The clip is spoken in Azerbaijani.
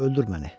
Öldür məni.